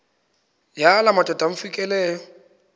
yala madoda amfikeleyo